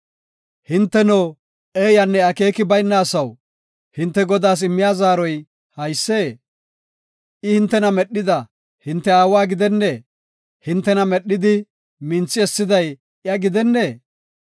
Hinteno, eeyanne akeeki bayna asaw, hinte Godaas immiya zaaroy haysee? I hintena medhida hinte Aawa gidennee? hintena medhidi minthi essiday iya gidennee?